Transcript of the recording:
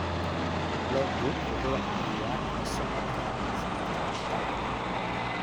Loggu wuxuu caawiyaa la socodka dhaqdhaqaaqa.